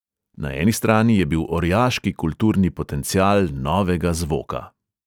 Na eni strani je bil orjaški kulturni potencial novega zvoka.